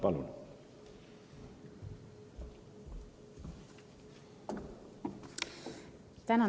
Palun!